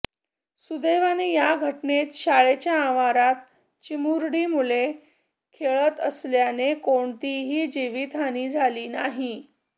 सुदैवाने या घटनेत शाळेच्या आवारात चिमुरडी मुले खेळत असल्याने कोणतीही जीवितहानी झाली नाही